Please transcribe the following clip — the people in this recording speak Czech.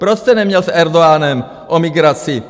Proč jste neměl s Erdoganem o migraci?